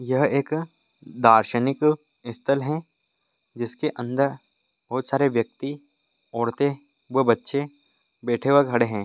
यह एक दार्शनिक स्थल है जिसके अंदर बहुत सारे व्यक्ति औरतें व बच्चे बैठे व खड़े हैं।